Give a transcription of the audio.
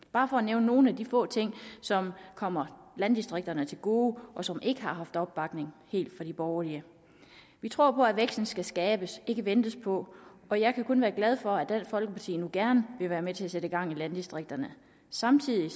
bare for at nævne nogle af de få ting som kommer landdistrikterne til gode og som ikke helt har haft opbakning fra de borgerlige vi tror at væksten skal skabes ikke ventes på og jeg kan kun være glad for at dansk folkeparti nu gerne vil være med til at sætte gang i landdistrikterne samtidig